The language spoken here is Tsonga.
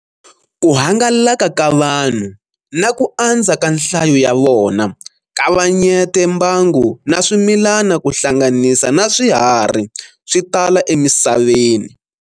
Kuhangalaka ka vanhu na ku andza ka nhlayo yavona kavanyete mbangu na swimilana kuhlanganisa na swiharhi switala emisaveni.